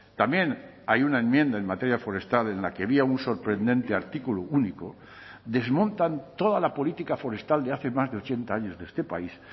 también hay una enmienda en materia forestal en la que había un sorprendente artículo único desmontan toda la política forestal de hace más de ochenta años de este país